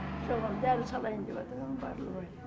соған дәрі салайын деп ем барлыбай